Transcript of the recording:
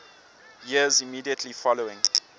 years immediately following